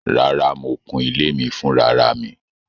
Rárá, mo kụ́n ilẹ̀ mi fúnráràmì